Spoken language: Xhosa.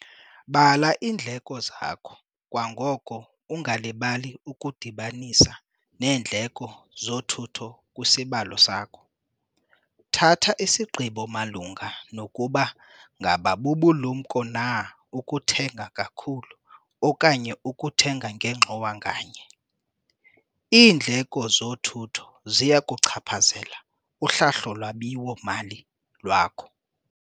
Bala iindleko zakho kwangoko ungalibali ukudibanisa neendleko zothutho kwisibalo sakho. Thatha isigqibo malunga nokuba ngaba bubulumko na ukuthenga kakhulu okanye ukuthenga ngengxowa nganye. Iindleko zothutho ziya kuluchaphazela uhlahlo lwabiwo-mali lwakho.